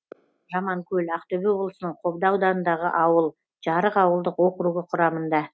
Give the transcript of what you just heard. жаманкөл ақтөбе облысының қобда ауданындағы ауыл жарық ауылдық округі құрамында